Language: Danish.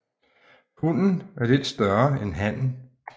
Hunnen er lidt større end hannen